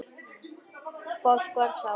Fólk var sátt.